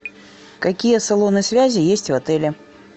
какие салоны связи есть в отеле